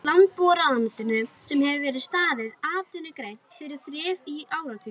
Landbúnaðarráðuneytinu sem hefur staðið atvinnugreininni fyrir þrifum í áratugi!